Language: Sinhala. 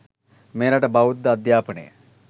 මෙරට බෞද්ධ අධ්‍යාපනය